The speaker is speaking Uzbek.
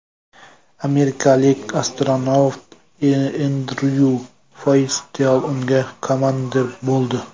Amerikalik astronavt Endryu Foystel unga komandir bo‘ldi.